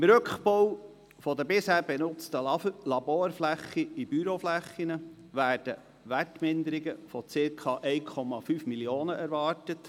Beim Rückbau der bisher benutzten Laborflächen in Büroflächen werden Wertminderungen von circa 1,5 Mio. Franken erwartet.